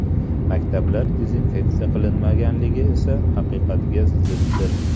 Maktablar dezinfeksiya qilinmaganligi esa haqiqatga ziddir.